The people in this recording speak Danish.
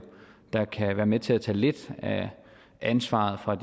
der kan være med til at tage lidt af ansvaret fra